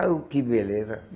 Oh, que beleza!